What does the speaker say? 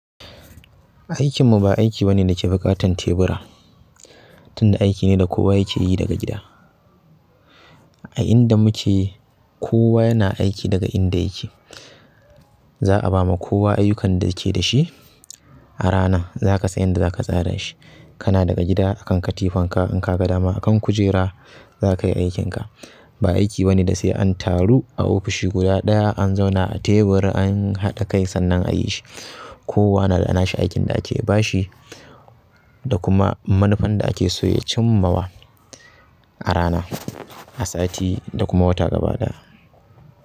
Aikinmu ba aiki bane da ke buƙatan tebura, tunda aiki ne da kowa yake yi daga gida. A inda muke kowa yana aiki daga inda yake. Za a ba ma kowa ayyukan da ke da shi a rana za ka san yadda za ka tsara shi. Kana daga gida a kan katifanka in ka ga dama akan kujera za ka yi aikinka. Ba aiki bane da se an taru a ofishi guda ɗaya an zauna a tebur an haɗa kai sannan a yi shi kowa na da nashi aikin da ake ba shi da kuma manufan da ake so ya cimmawa a rana, a sati da kuma wata gaba ɗaya.